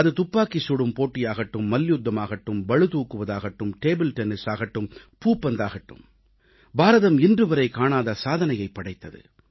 அது துப்பாக்கிச் சுடும் போட்டியாகட்டும் மல்யுத்தமாகட்டும் பளுதூக்குவதாகட்டும் டேபிள் டென்னிஸாகட்டும் பூப்பந்தாகட்டும் பாரதம் இன்றுவரை காணாத சாதனையைப் படைத்தது